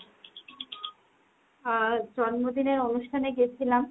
আহ জন্মদিনের অনুষ্ঠানে গেছিলাম।